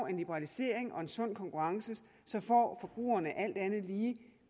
en liberalisering og en sund konkurrence får forbrugerne alt andet lige